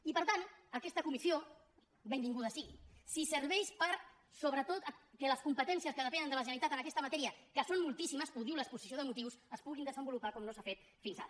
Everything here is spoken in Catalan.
i per tant aquesta comissió benvinguda sigui si serveix sobretot perquè les competències que depenen de la generalitat en aquesta matèria que són moltíssimes ho diu l’exposició de motius es puguin desenvolupar com no s’ha fet fins ara